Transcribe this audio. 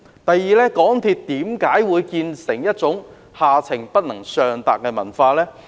第二，港鐵公司為何會有下情不能上達的文化？